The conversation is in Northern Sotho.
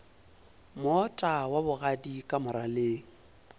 moota wa bogadi ka moraleng